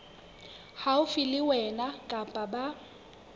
haufi le wena kapa ba